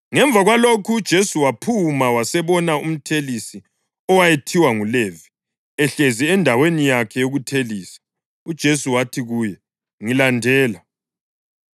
Ngemva kwalokhu uJesu waphuma wasebona umthelisi owayethiwa nguLevi ehlezi endaweni yakhe yokuthelisa. UJesu wathi kuye, “Ngilandela,”